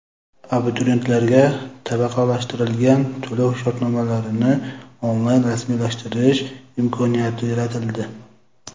Abituriyentlarga tabaqalashtirilgan to‘lov-shartnomalarini onlayn rasmiylashtirish imkoniyati yaratildi.